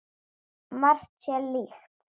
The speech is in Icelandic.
Margt sé líkt.